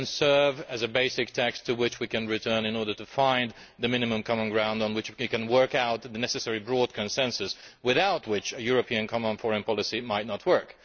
This can serve as a basic text to which we can return in order to find the minimum common ground on which we can work out the necessary broad consensus, without which a European common and foreign policy might not work.